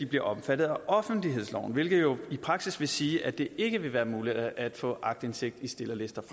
bliver omfattet af offentlighedsloven hvilket jo i praksis vil sige at det ikke vil være muligt at få aktindsigt i stillerlister det